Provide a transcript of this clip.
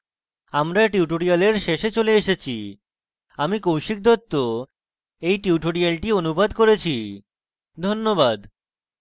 আমরা tutorial শেষে চলে এসেছি আমি কৌশিক দত্ত we tutorial অনুবাদ করেছি ধন্যবাদ